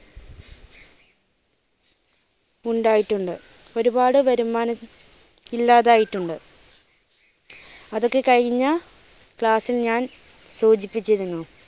ഉണ്ടായിട്ട് ഉണ്ട്. ഒരുപാട് വരുമാനം ഇല്ലാതായിട്ട് ഉണ്ട് അതൊക്കെ കഴിഞ്ഞ class ൽ ഞാൻ സൂചിപ്പിച്ചിരുന്നു.